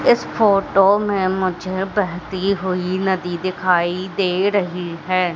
इस फोटो में मुझे बहती हुई नदी दिखाई दे रही है।